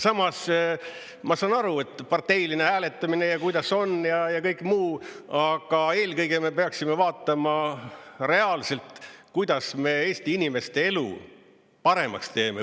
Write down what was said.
Samas, ma saan aru, et parteiline hääletamine ja kuidas on ja kõik muu, aga eelkõige me peaksime vaatama reaalselt, kuidas me Eesti inimeste elu paremaks teeme.